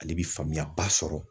Ale bi faamuya ba sɔrɔ.